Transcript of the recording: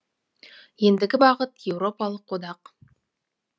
ендігі бағыт еуропалық одақ